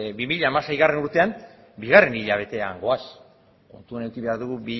bi mila hamaseigarrena urtean bigarren hilabetean goaz kontutan eduki behar dugu